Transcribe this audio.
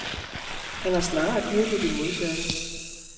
Han har snarere dyrket det modsatte.